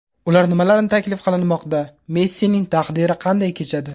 Ular nimalarni taklif qilinmoqda, Messining taqdiri qanday kechadi?